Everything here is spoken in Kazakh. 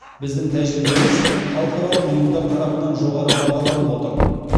біздің тәжірибеміз халықаралық ұйымдар тарапынан жоғары бағаланып отыр